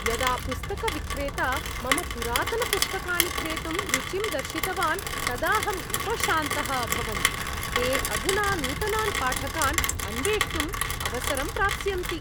यदा पुस्तकविक्रेता मम पुरातनपुस्तकानि क्रेतुं रुचिं दर्शितवान् तदाहम् उपशान्तः अभवम्। ते अधुना नूतनान् पाठकान् अन्वेष्टुम् अवसरं प्राप्स्यन्ति!